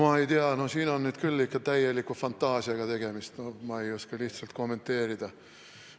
Ma ei tea, siin on nüüd küll ikka täieliku fantaasiaga tegemist, ma lihtsalt ei oska kommenteerida.